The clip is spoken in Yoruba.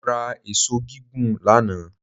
Mo ra èṣó gígùn lánàá